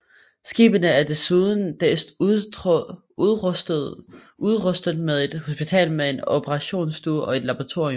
Skibene er desuden udrustet med et hospital med en operationsstue og et laboratorium